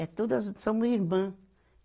É tudo, a gente somos irmãs.